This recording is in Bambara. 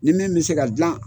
Ni min bɛ se ka dilan,